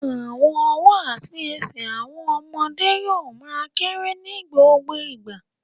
Àwọn ọwọ́ àti ẹsẹ̀ àwọn ọmọdé yóò ma kérè ní gbogbo ìgbà